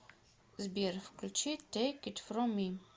сбер включи тэйк ит фром ми